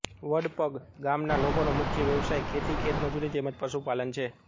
વડપગ ગામના લોકોનો મુખ્ય વ્યવસાય ખેતી ખેતમજૂરી તેમ જ પશુપાલન છે